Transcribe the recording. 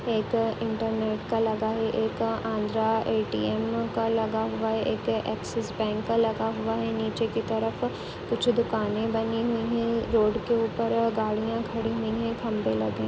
एक इंटरनेट का लगा है एक आंध्रा ए_टी_एम का लगा हुआ है एक एक्सिस बैंक का लगा हुआ है नीचे की तरफ कुछ दुकाने बनी हुई हैं। रोड के ऊपर और गाड़िया खड़ी हुई है खंबे (खंभे) लगे हैं ।